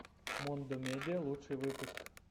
мондо медиа лучший выпуск